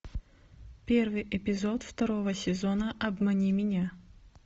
первый эпизод второго сезона обмани меня